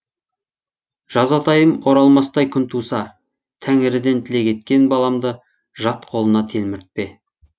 жазатайым оралмастай күн туса тәңіріден тілек еткен баламды жат қолына телміртпе